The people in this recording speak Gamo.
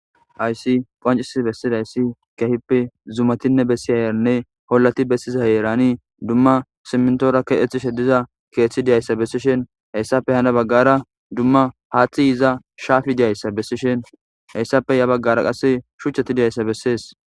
Hayis qoncciss besida issi keehippe zumatidin beesiya olati besida heeran dumma simintora keththedi diza issi kethth diya iza besishin ettappe ha baggara hathth ehiya shafi diya oza beesishin etape ya baggara shuchcha diya iza beesees.